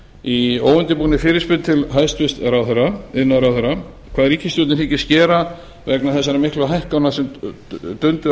í óundirbúinni fyrirspurn til hæstvirts iðnaðarráðherra hvað ríkisstjórnin hyggist gera vegna þessara miklu hækkana sem dundu á